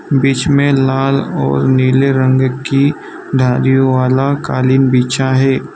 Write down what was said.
बीच में लाल और नीले रंग की धारी वाला कालीन बिछा है।